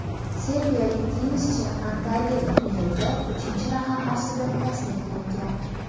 Serbiyalik tennischi Antaliya turnirida uchinchi raqam ostida tasniflangan.